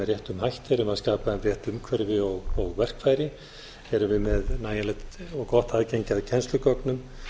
réttum hætti erum við að skapa þeim rétt umhverfi og verkfæri erum við nægilegt og gott aðgengi að kennslugögnum